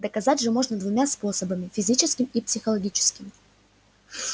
доказать же можно двумя способами физическим и психологическим